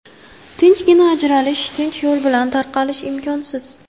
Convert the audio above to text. Tinchgina ajralish, tinch yo‘l bilan tarqalish imkonsiz.